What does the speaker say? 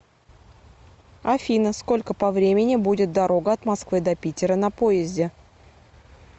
афина сколько по времени будет дорога от москвы до питера на поезде